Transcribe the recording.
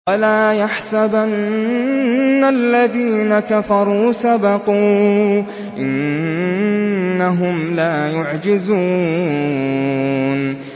وَلَا يَحْسَبَنَّ الَّذِينَ كَفَرُوا سَبَقُوا ۚ إِنَّهُمْ لَا يُعْجِزُونَ